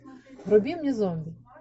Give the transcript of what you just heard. вруби мне зомби